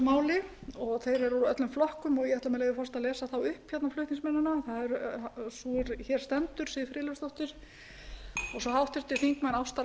máli þeir eru úr öllum flokkum og ég ætla með leyfi forseta að lesa þá upp flutningsmennina það er sú er hér stendur siv friðleifsdóttir og svo háttvirtur þingmaður ásta